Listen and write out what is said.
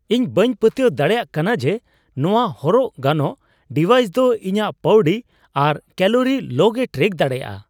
ᱤᱧ ᱵᱟᱹᱧ ᱯᱟᱹᱛᱭᱟᱹᱣ ᱫᱟᱲᱮᱭᱟᱜ ᱠᱟᱱᱟ ᱡᱮ ᱱᱚᱶᱟ ᱦᱚᱨᱚᱜ ᱜᱟᱱᱚᱜ ᱰᱤᱵᱷᱟᱭᱤᱥ ᱫᱚ ᱤᱧᱟᱹᱜ ᱯᱟᱹᱣᱲᱤ ᱟᱨ ᱠᱮᱹᱞᱳᱨᱤ ᱞᱚᱜᱼᱮ ᱴᱨᱮᱠ ᱫᱟᱲᱮᱭᱟᱜᱼᱟ ᱾